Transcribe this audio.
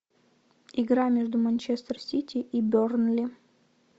игра между манчестер сити и бернли